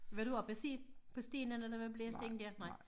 Var du oppe og se på stenene der var blæst ind dér nej